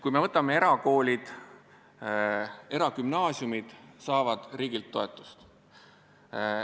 Kui me võtame erakoolid, siis eragümnaasiumid saavad riigilt toetust.